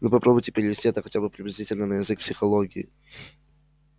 но попробуйте перевести это хотя бы приблизительно на язык психологии